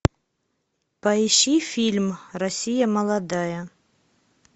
поищи фильм россия молодая